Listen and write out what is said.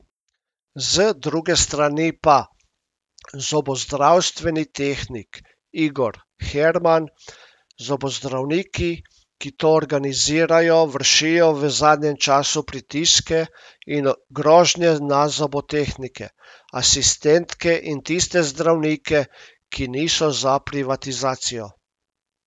Z druge strani pa zobozdravstveni tehnik Igor Herman: 'Zobozdravniki, ki to organizirajo, vršijo v zadnjem času pritiske in grožnje na zobotehnike, asistentke in tiste zdravnike, ki niso za privatizacijo.